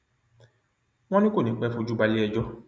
wọn ní kò ní í pẹ fojú balẹẹjọ